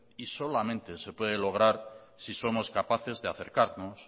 y solamente se puede lograr si somos capaces de acercarnos